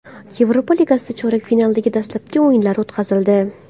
Yevropa Ligasida chorak finalning dastlabki o‘yinlari o‘tkazildi.